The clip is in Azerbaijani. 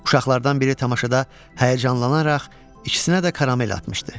Uşaqlardan biri tamaşada həyəcanlanaraq ikisinə də karamel atmışdı.